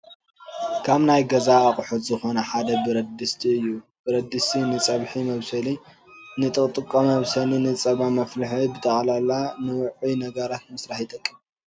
ካብ ናይ ገዛ ኣቕሑት ዝኾነ ሓደ ብረት ድስቲ እዩ፡፡ ብረት ድስቲ ንፀብሒ መብሰሊ፣ ንጥጥቆ መብሰሊ፣ ንፀባ መፍልሒን ብጠቕላላ ንውዑይ ነገራት ምስራሕ ይጠቅም፡፡